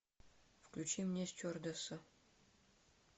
включи мне стюардесса